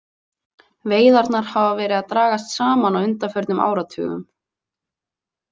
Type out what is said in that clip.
Veiðarnar hafa verið að dragast saman á undanförnum áratugum.